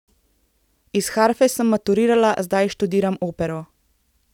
Iz harfe sem maturirala, zdaj študiram opero.